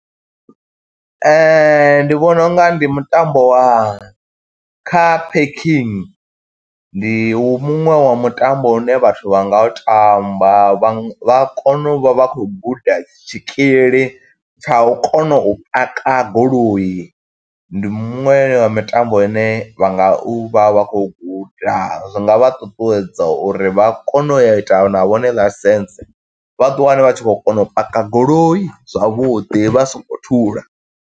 Ndi vhona u nga ndi mutambo wa Car Parking, ndi u muṅwe wa mutambo une vhathu vha nga u tamba vha nga, vha kona u vha vha khou guda tshikili tsha u kona u paka goloi. Ndi muṅwe ya mitambo ine vha nga u vha vha khou guda, zwi nga vha ṱuṱuwedza uri vha kone u ya ita na vhone ḽaisentse, vha ḓi wane vha tshi khou kona u paka goloi zwavhuḓi vha so ngo thula.